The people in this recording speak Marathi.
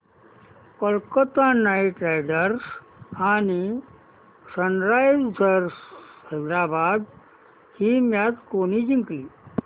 कोलकता नाइट रायडर्स आणि सनरायझर्स हैदराबाद ही मॅच कोणी जिंकली